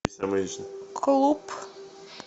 клуб